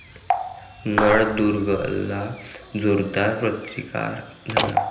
नळदुर्गला जोरदार प्रतिकार झाला.